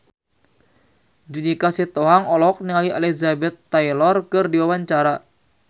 Judika Sitohang olohok ningali Elizabeth Taylor keur diwawancara